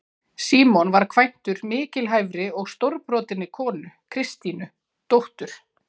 Símon var kvæntur mikilhæfri og stórbrotinni konu, Kristínu, dóttur